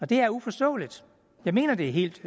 det er uforståeligt jeg mener det er helt